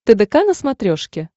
тдк на смотрешке